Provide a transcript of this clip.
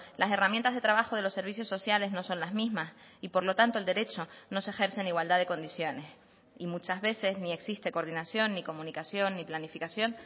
las herramientas de trabajo de los servicios sociales no son las mismas y por lo tanto el derecho no se ejerce en igualdad de condiciones y muchas veces ni existe coordinación ni comunicación ni planificación